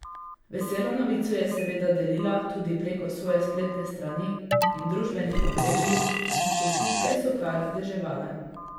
Veselo novico je seveda delila tudi preko svoje spletne strani in družbenih omrežij in čestitke so kar deževale.